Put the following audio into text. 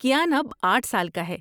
کیان اب آٹھ سال کا ہے